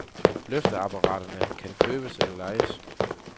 Løfteapparaterne kan købes eller lejes.